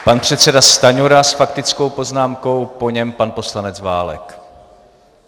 Pan předseda Stanjura s faktickou poznámkou, po něm pan poslanec Válek.